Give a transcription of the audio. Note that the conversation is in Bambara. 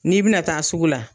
N'i bɛna taa sugu la,